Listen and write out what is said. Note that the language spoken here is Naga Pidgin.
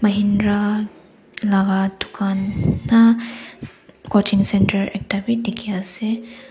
indra laga dukan na coaching centre ekta bi dikhi ase.